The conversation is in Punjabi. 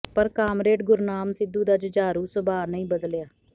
ਪਰ ਕਾਮਰੇਡ ਗੁਰਨਾਮ ਸਿੱਧੂ ਦਾ ਜੁਝਾਰੂ ਸੁਭਾਅ ਨਹੀਂ ਬਦਲਿਆ